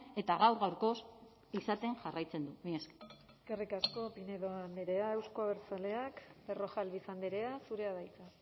eta gaur gaurkoz izaten jarraitzen du mila esker eskerrik asko pinedo andrea euzko abertzaleak berrojalbiz andrea zurea da hitza